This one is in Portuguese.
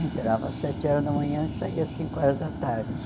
Entrava às sete horas da manhã e saía às cinco horas da tarde.